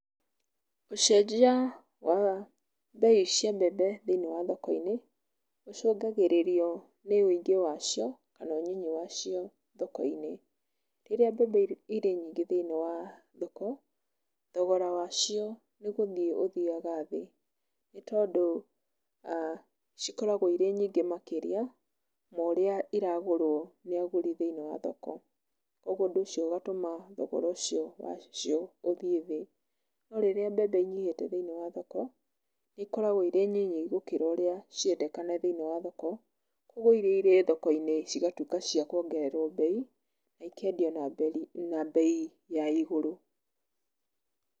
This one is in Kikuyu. Ũcenjia wa mbei cia mbembe thĩinĩ wa thoko-inĩ ũcũngagĩrĩrio nĩ ũingĩ wa cio kana unini wacio thoko-inĩ. Rĩrĩa mbembe irĩ nyingĩ thĩinĩ wa thoko, thogora wacio nĩ gũthiĩ ũthiaga thĩ nĩ tondũ cikoragwo irĩ nyingĩ makĩria ma ũrĩa iragũrwo nĩ agũri thĩinĩ wa thoko. Ũguo ũndũ ũcio ũgatũma thogora ũcio wacio ũthiĩ thĩ. No rĩrĩa mbembe inyihĩte thĩinĩ wa thoko, nĩ ikoragwo irĩ nyinyi gũkĩra ũrĩa cirendekana thĩinĩ wa thoko, kwoguo iria irĩ thoko-inĩ cigatuĩka cia kuongererwo mbei, na ikendio na mbei ya igũrũ.